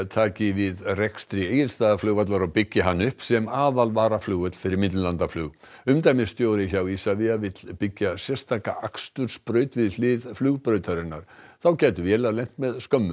taki við rekstri Egilsstaðaflugvallar og byggi hann upp sem aðal varaflugvöll fyrir millilandaflug umdæmisstjóri hjá ISAVIA vill byggja sérstaka akstursbraut við hlið flugbrautarinnar þá gætu vélar lent með skömmu